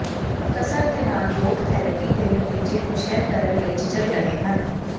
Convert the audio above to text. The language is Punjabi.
ਕਸਰ ਦੇ ਨਾਲ ਲੋਕ ਥੈਰੇਪੀ ਦੇ ਨਤੀਜੇ ਨੂੰ ਸ਼ੇਅਰ ਕਰਨ ਲਈ ਝਿਜਕ ਰਹੇ ਹਨ